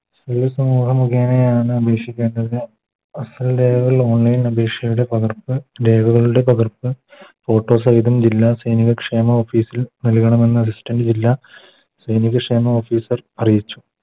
മുഖേനെയാണ് അപേക്ഷിക്കേണ്ടത് Online അപേക്ഷയുടെ പകർപ്പ് രേഖകളുടെ പകർപ്പ് Photo സഹിതം ജില്ലാ സൈനിക ക്ഷേമ Office ൽ നൽകണമെന്ന Distant ജില്ലാ സൈനിക ക്ഷേമ Officer അറിയിച്ചു